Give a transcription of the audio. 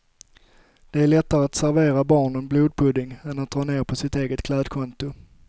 Det är lättare att servera barnen blodpudding än dra ned på sitt eget klädkonto.